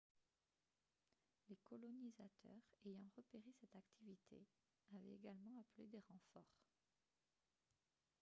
les colonisateurs ayant repéré cette activité avaient également appelé des renforts